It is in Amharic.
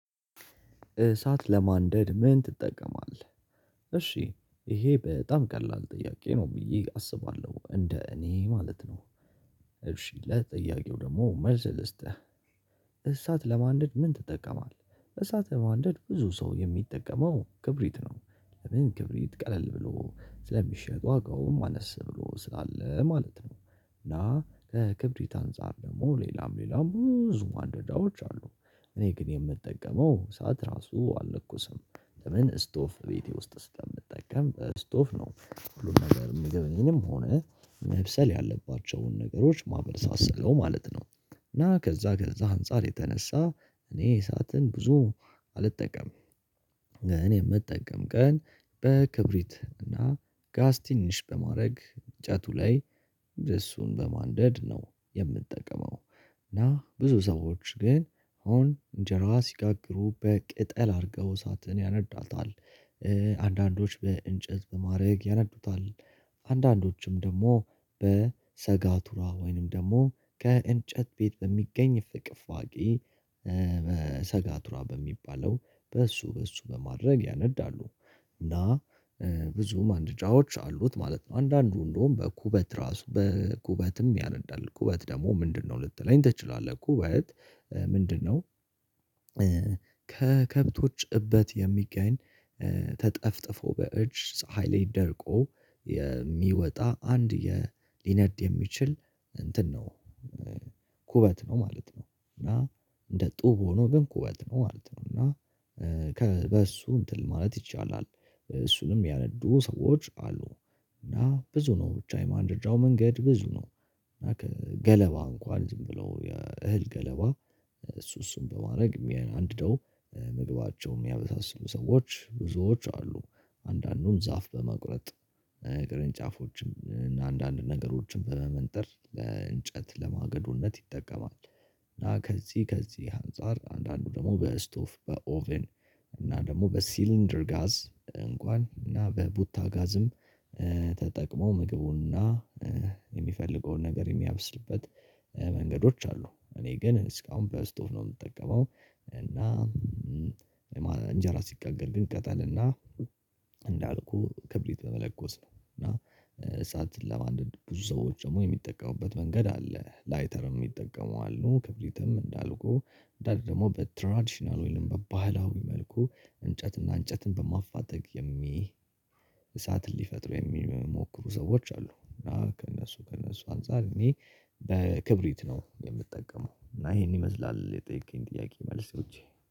እሳት ለማንደድ ምን ትጠቀማለህ? እሺ ይሄ በጣም ቀላል ጥያቄ ነው ብዬ አስባለሁ። እንደ እኔ ማለት ነው። እሺ ለጥያቄው ደግሞ መልስ ልስጥህ። እሳት ለማንደድ ምን ትጠቀማለህ? እሳት ለማንደድ ብዙ ሰው የሚጠቀመው ክብሪት ነው። ለምን? ክብሪት ቀለል ብሎ ስለሚሸጥ ዋጋውም አነስ ብሎ ስላለ ማለት ነው። እና ከክብሪት አንፃር ደግሞ ሌላም ሌላም ብዙ ማንደጃዎች አሉ። እኔ ግን የምጠቀመው እሳት ራሱ አልለኩስም። ለምን? ስቶቭ ቤቴ ውስጥ ስለምጠቀም ስቶቭ ነው። ሁሉም ነገር ምግብንም ሆነ መብሰል ያለባቸውን ነገሮች ማበሳስለው ማለት ነው። እና ከዛ ከዛ አንፃር የተነሳ እኔ እሳትን ብዙ አልጠቀምም። እኔ የምጠቀም ቀን በክብሪት እና ጋዝ ትንሽ በማድረግ እጨቱ ላይ እሱን በማንደድ ነው የምጠቀመው። እና ብዙ ሰዎች ግን አሁን እንጀራ ሲጋግሩ በቅጠል አድርገው እሳትን ያነዷታል። አንዳንዶች በእንጨት በማድረግ ያነዱታል። አንዳንዶችም ደግሞ በሰጋቱራ ወይንም ደግሞ ከእንጨት ቤት በሚገኝ ፍቅፋቂ ሰጋቱራ በሚባለው በእሱ በእሱ በማድረግ ያነዳሉ። እና ብዙ ማነደጃዎች አሉት ማለት ነው። አንዳንዱ እንደውም በኩበት ራሱ በኩበትም ያነዳል። ኩበት ደግሞ ምንድነው ልትለኝ ትችላለህ። ኩበት ምንድነው? ከከብቶች እበት የሚገኝ ተጠፍጥፎ በእጅ ፀሀይ ላይ ደርቆ የሚወጣ አንድ ሊነድ የሚችል እንትን ነው። ኩበት ነው ማለት ነው። እና እንደ ጡብ ሆኖ ግን ኩበት ነው ማለት ነው። እና በሱ እንትን ማለት ይቻላል። እሱንም ሚያነዱ ሰዎች አሉ። እና ብዙ ነው። ብቻ የማንደጃው መንገድ ብዙ ነው። እና ከገለባ እንኳን ዝም ብሎ እህል ገለባ እሱ እሱን በማድረግ አንድደው ምግባቸውን የሚያበሳስሉ ሰዎች ብዙዎች አሉ። አንዳንዱም ዛፍ በመቁረጥ ቅርንጫፎችም አንዳንድ ነገሮችን በመመንጠር እንጨት ለማገዶነት ይጠቀማል። እና ከዚህ ከዚህ አንፃር አንዳንዱ ደግሞ በስቶቭ በኦቨን እና ደግሞ በሲሊንደር ጋዝ እንኳን እና በቡታ ጋዝም ተጠቅሞ ምግቡና የሚፈልገውን ነገር የሚያብስልበት መንገዶች አሉ። እኔ ግን እስካሁን በስቶቭ ነው የምጠቀመው። እና እንጀራ ሲጋገር ግን አጠልና እንዳልኩህ ክብሪት በመለኮስ ነው። እና እሳትን ለማንደድ ብዙ ሰዎች ደግሞ የሚጠቀሙበት መንገድ አለ። ላይተር ሚጠቀሙ አሉ። ክብሪትም እንዳልኩህ ደግሞ በትራዲሽናል ወይንም በባህላዊ መልኩ እንጨትና እንጨትን በማፋተግ የሚ እሳትን ሊፈጥሩ የሚሞክሩ ሰዎች አሉ። እና ከእነሱ ከእነሱ አንፃር እኔ በክብሪት ነው የምጠቀመው። እና ይሄን ይመስላል የጠየቀኝ ጥያቄ መልሶቼ።